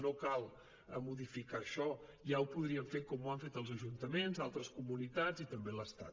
no cal modificar això ja ho podríem fer com ho han fet els ajuntaments altres comunitats i també l’estat